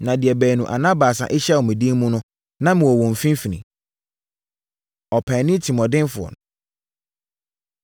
Na deɛ baanu anaa baasa ahyia wɔ me din mu no, na mewɔ wɔn mfimfini.” Ɔpaani Tirimuɔdenfoɔ No